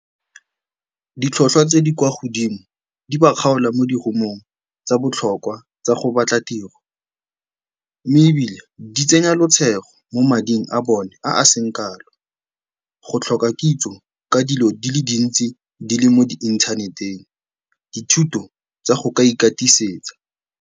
Ditlhotlhwa tse di kwa godimo di ba kgaola mo tsa botlhokwa tsa go batla tiro mme ebile di tsenya mo mading a bone a a seng kalo, go tlhoka kitso ka dilo di le dintsi di le mo di-inthaneteng, dithuto tsa go ka ikatisetsa.